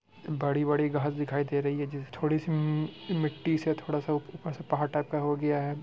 बड़ी-बड़ी घास दिखाई दे रही है जिसे थोड़ी सी मी-मिट्टी से थोड़ा सा ऊपर से पहाड़ टाइप का हो गया है।